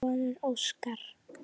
Þinn sonur, Óskar.